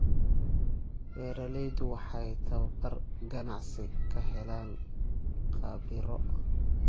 Beeraleydu waxay tababar ganacsi ka helaan khabiiro.